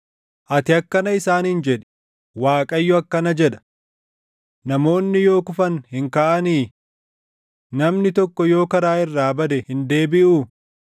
“Ati akkana isaaniin jedhi; ‘ Waaqayyo akkana jedha: “ ‘Namoonni yoo kufan hin kaʼanii? Namni tokko yoo karaa irraa bade hin deebiʼuu?